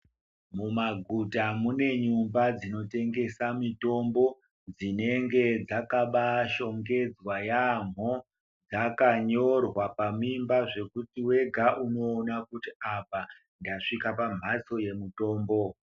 Mumaguta mune n'umba dzinotengesa mitombo dzinenge dzakabashongedzwa yaamho. Dzakanyorwa pamimba zvekuti wega unoona kuti ndasvika pamhatso yemitombo.